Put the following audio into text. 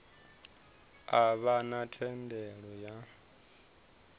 a vha na thendelo ya